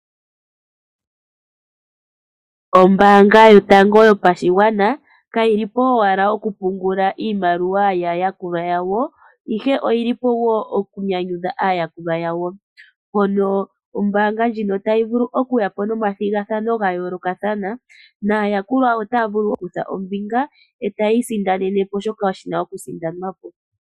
Ombaanga yotango yopashigwana kayi lipo owala oku pungula iimaliwa yaayakulwa yawo ihe oyili po wo okunyanyudha aayakulwa yawo mono ombaanga ndjino tayi vulu okuya po nomathigathano ga yoolokathana naayakulwa otaa vulu okukutha ombinga etayi isindanene po shoka shina okusindanwa po.